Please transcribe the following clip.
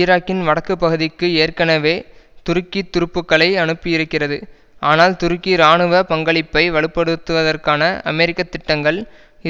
ஈராக்கின் வடக்கு பகுதிக்கு ஏற்கனவே துருக்கி துருப்புக்களை அனுப்பியிருக்கிறது ஆனால் துருக்கி இராணுவ பங்களிப்பை வலுப்படுத்துவதற்கான அமெரிக்க திட்டங்கள்